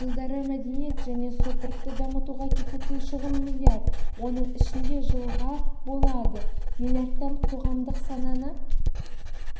жылдары мәдениет және сопртты дамытуға кететін шығын миллиард оның ішінде жылға болады миллиардтан қоғамдық сананы